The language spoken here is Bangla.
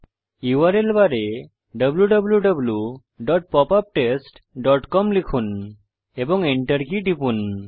ইউআরএল বারে wwwpopuptestcom লিখুন এবং Enter কী টিপুন